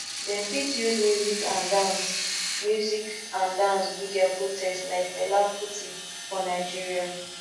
dem fit use music and dance music and dance do their protest like fela kuti for nigeria